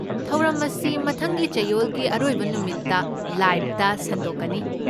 ꯊꯧꯔꯝ ꯑꯁꯤ ꯃꯊꯪꯒꯤ ꯆꯌꯣꯜꯒꯤ ꯑꯔꯣꯏꯕ ꯅꯨꯃꯤꯠꯇ ꯂꯥꯏꯕꯇ ꯁꯟꯗꯣꯛꯀꯅꯤ꯫